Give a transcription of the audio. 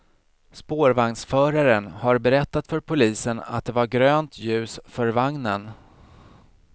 Spårvagnsföraren har berättat för polisen att det var grönt ljus för vagnen.